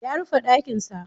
Ya rufe ɗakinsa.